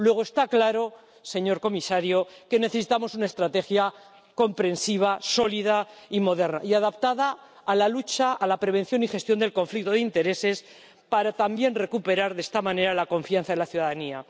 Luego está claro, señor comisario, que necesitamos una estrategia comprensiva sólida y moderna y adaptada a la lucha, a la prevención y gestión del conflicto de intereses para también recuperar, de esta manera, la confianza de la ciudadanía.